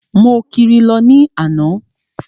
Mo kiri lọ ní àná.